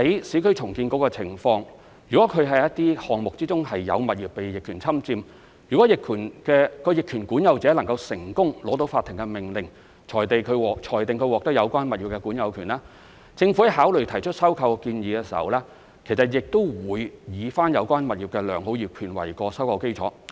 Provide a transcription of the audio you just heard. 如果市建局的項目之中有物業被逆權侵佔，而有關的逆權管有人成功取得法庭的命令，裁定他獲得有關物業的管有權，政府考慮提出收購建議時，亦會以有關物業的良好業權為收購基礎。